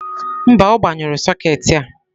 mba, ọ gbanyụrụ sokeetị a.